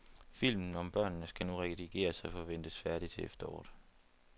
Filmen om børnene skal nu redigeres og forventes færdig til efteråret.